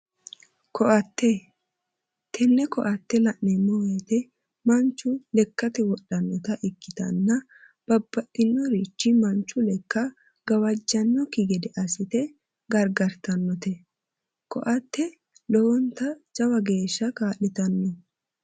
Koatte. Tenne koatte la'neemmo woyite manchi lekkate wodhannota ikkitanna babbaxxitinorichi manchu lekka gawajjannokki gede assite gargartannote. Koatte lowonta jawa geeshsha kaa'litanno.